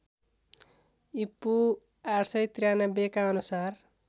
ईपू ८९३ का अनुसार